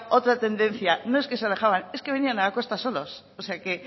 otra tendencia no es que se alejaban es que venían a la costa solos o sea que